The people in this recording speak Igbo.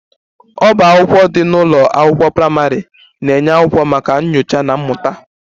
Ọbá akwụkwọ dị n'ụlọ akwụkwọ praịmarị na-enye akwụkwọ maka nyocha na mmụta